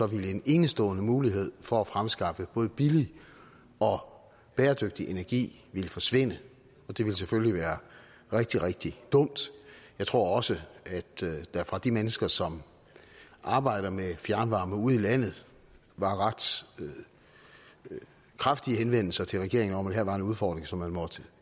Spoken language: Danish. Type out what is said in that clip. ville en enestående mulighed for at fremskaffe både billig og bæredygtig energi forsvinde og det ville selvfølgelig være rigtig rigtig dumt jeg tror også at der fra de mennesker som arbejder med fjernvarme ude i landet var ret kraftige henvendelser til regeringen om at det her var en udfordring som man måtte